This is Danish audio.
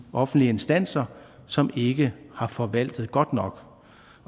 offentlige instanser som ikke har forvaltet det godt nok